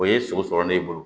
O ye sogo sɔrɔ ne bolo